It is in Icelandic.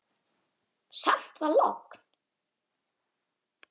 Samt var logn.